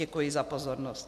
Děkuji za pozornost.